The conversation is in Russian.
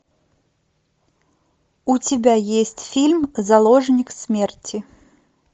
у тебя есть фильм заложник смерти